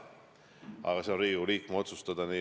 Eks see ole Riigikogu liikme otsustada.